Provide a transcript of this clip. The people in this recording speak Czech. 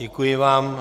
Děkuji vám.